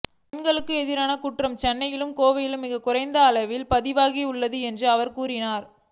பெண்களுக்கு எதிரான குற்றங்கள் சென்னையிலும் கோவையிலும் மிக குறைந்த அளவிலேயே பதிவாகி உள்ளது என்றும் அவர் கூறினார்